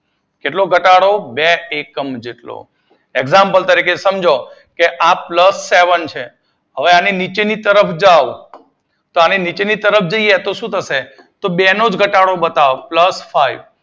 કેટલો ઘટાડો બે એકમ જેટલો એક્ઝામ તરીકે સમજો આ પ્લસ સેવન છે આની નીચેની તરફ જાવ તો નીચેની તરફ જઈએ તો બે નો જ ઘટાડો બતાવશે